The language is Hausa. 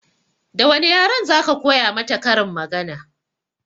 Da wane yaren za ka koya mata karin magana?